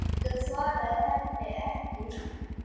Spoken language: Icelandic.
Kjartan svaraði henni ekki.